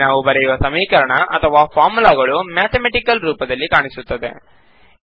ಇಲ್ಲಿ ನಾವು ಬರೆಯುವ ಸಮೀಕರಣ ಅಥವಾ ಫಾರ್ಮುಲಾಗಳು ಮ್ಯಾತಮೆಟಿಕಲ್ ರೂಪದಲ್ಲಿ ಕಾಣಿಸುತ್ತದೆ